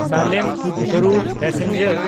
ᱥᱟᱞᱮᱢ–ᱠᱟᱨᱩᱨ passenger